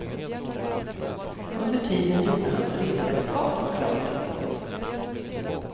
Under tiden gjorde hans resesällskap klart jobbet.